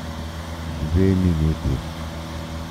Dve minuti.